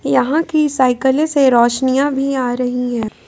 यहां की साइकले से रोशनियां भी आ रही है।